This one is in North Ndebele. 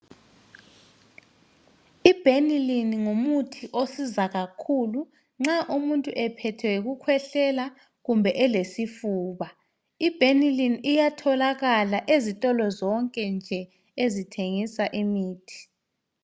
I-Benylin ngumuthi osiza kakhulu, nxa umuntu ephethwe yikukhwehlela kumbe elesifuba. I-Benylin iyatholakala ezitolo zonke nje ezithengisa imithi.